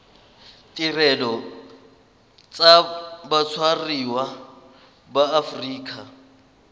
ditirelo tsa batshwariwa ba aforika